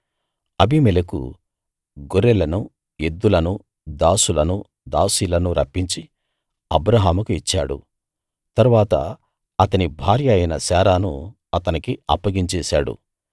అబీమెలెకు గొర్రెలనూ ఎద్దులనూ దాసులనూ దాసీలనూ రప్పించి అబ్రాహాముకు ఇచ్చాడు తరువాత అతని భార్య అయిన శారాను అతనికి అప్పగించేశాడు